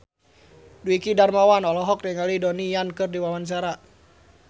Dwiki Darmawan olohok ningali Donnie Yan keur diwawancara